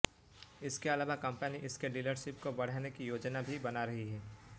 इसके अलावा कंपनी इसके डीलरशिप को बढ़ाने की योजना भी बना रही है